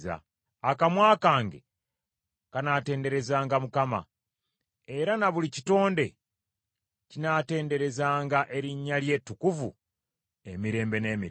Akamwa kange kanaatenderezanga Mukama , era na buli kitonde kinaatenderezanga erinnya lye ettukuvu emirembe n’emirembe.